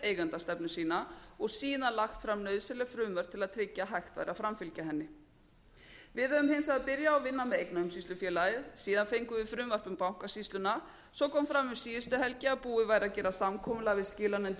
eigendastefnu sína og síðan lagt fram nauðsynleg frumvörp til að tryggja að hægt væri að framfylgja henni við höfum hins vegar byrjað að vinna með eignaumsýslufélagið síðan fengum á frumvarp um bankasýsluna svo kom fram um síðustu helgi að búið væri að gera samkomulag við skilanefndir